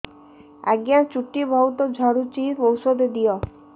ଆଜ୍ଞା ଚୁଟି ବହୁତ୍ ଝଡୁଚି ଔଷଧ ଦିଅ